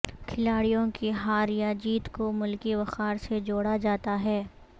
کھلاڑیوں کی ہار یا جیت کو ملکی وقار سے جوڑا جاتا ہے